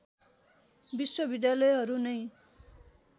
विश्वविद्यालयहरू नै